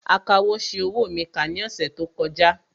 Akawò ṣi owó mi kà ní ọ̀sẹ̀ tó kọjá